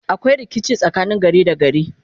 akwai rikici tsakanin gari da gari